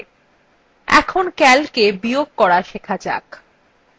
এখন calcএ বিয়োগ করা শেখা যাক